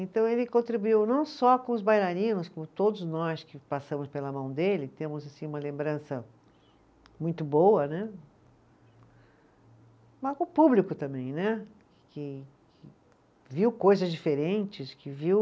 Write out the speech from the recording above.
Então ele contribuiu não só com os bailarinos, como todos nós que passamos pela mão dele, temos assim uma lembrança muito boa né, mas com o público também né, que que que viu coisas diferentes, que viu